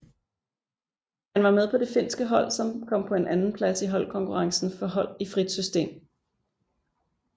Han var med på det finske hold som kom på en andenplads i holdkonkurrencen for hold i frit system